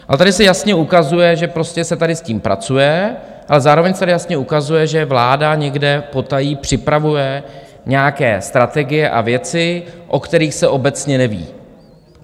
A tady se jasně ukazuje, že prostě se tady s tím pracuje, ale zároveň se tady jasně ukazuje, že vláda někde potají připravuje nějaké strategie a věci, o kterých se obecně neví.